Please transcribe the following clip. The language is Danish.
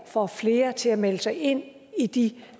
får flere til at melde sig ind i de